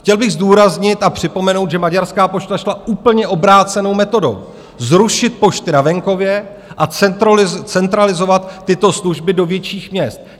Chtěl bych zdůraznit a připomenout, že maďarská pošta šla úplně obrácenou metodou: zrušit pošty na venkově a centralizovat tyto služby do větších měst.